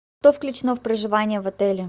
что включено в проживание в отеле